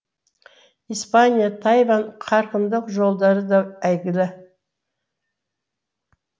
испания тайвань қарқындық жолдары да әйгілі